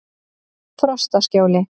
Frostaskjóli